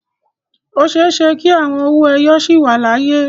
O ṣeé ṣe kí àwọn owó ẹyọ sì wà láyé.